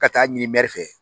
Ka taa ɲini fɛ.